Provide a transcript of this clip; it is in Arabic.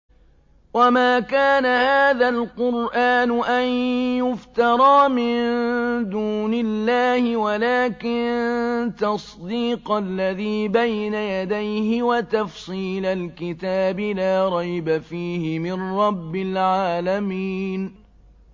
وَمَا كَانَ هَٰذَا الْقُرْآنُ أَن يُفْتَرَىٰ مِن دُونِ اللَّهِ وَلَٰكِن تَصْدِيقَ الَّذِي بَيْنَ يَدَيْهِ وَتَفْصِيلَ الْكِتَابِ لَا رَيْبَ فِيهِ مِن رَّبِّ الْعَالَمِينَ